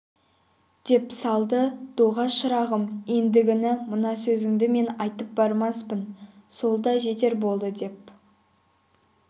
деп салды доға шырағым ендігіні мына сөзіңді мен айтып бармаспын сол да жетер болды деп